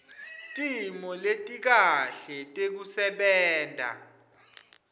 timo letikahle tekusebenta